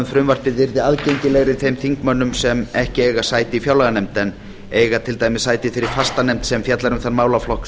frumvarpið yrði aðgengilegri þeim þingmönnum sem ekki eiga sæti í fjárlaganefnd en eiga til dæmis sæti í þeirri fastanefnd sem fjallar um þann málaflokk